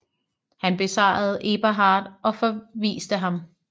Han besejrede Eberhard og forviste ham